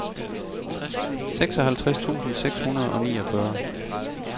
seksoghalvtreds tusind seks hundrede og niogfyrre